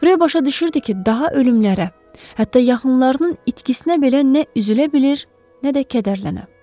Rö başa düşürdü ki, daha ölümlərə, hətta yaxınlarının itkisinə belə nə üzülə bilir, nə də kədərlənə.